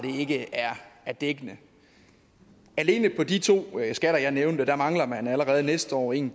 ikke er dækkende alene på de to skatter jeg nævnte mangler man allerede næste år en